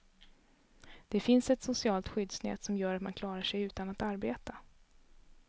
Det finns ett socialt skyddsnät som gör att man klarar sig utan att arbeta.